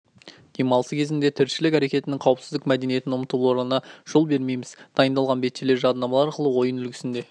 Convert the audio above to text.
демалысы кезінде тіршілік әрекетінің қауіпсіздік мәдениетін ұмытуларына жол бермейміз дайындалған бетшелер жадынамалар арқылы ойын үлгісінде